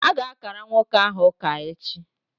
A ga-ákàrà nwoke ahụ ụka echi